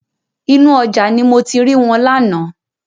Inú ọjà ni mo ti ri wọn lánàá.